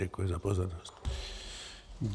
Děkuji za pozornost.